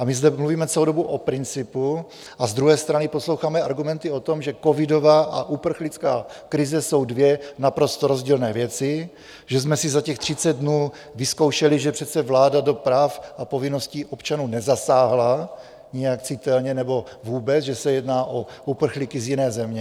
A my zde mluvíme celou dobu o principu, a z druhé strany posloucháme argumenty o tom, že covidová a uprchlická krize jsou dvě naprosto rozdílné věci, že jsme si za těch 30 dnů vyzkoušeli, že přece vláda do práv a povinností občanů nezasáhla nijak citelně nebo vůbec, že se jedná o uprchlíky z jiné země.